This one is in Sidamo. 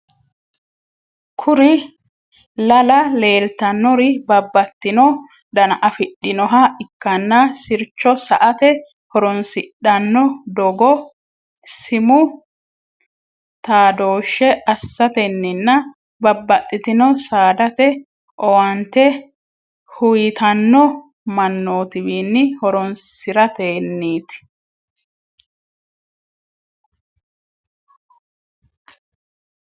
kuri lala lelitanori babatino dana afidhinoha ikana siricho sa'ate horonsidhano dogo simu tadoshe asatennina babatitino sadate owanite huyitano manotiwini horonisiratennit